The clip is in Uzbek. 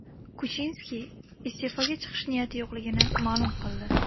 Kuchinski iste’foga chiqish niyati yo‘qligini ma’lum qildi.